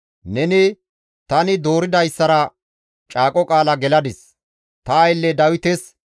Neni, «Tani dooridayssara caaqo qaala geladis; ta aylle Dawites,